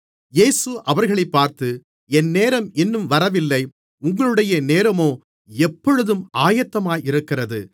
இயேசு அவர்களைப் பார்த்து என் நேரம் இன்னும் வரவில்லை உங்களுடைய நேரமோ எப்பொழுதும் ஆயத்தமாக இருக்கிறது